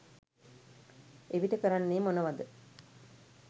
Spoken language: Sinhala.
එවිට කරන්නේ මොනවද